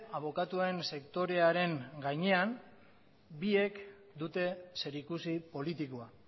abokatuen sektorearen gainean biek dute zerikusi politikoa